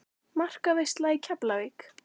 Markaveisla í Keflavík?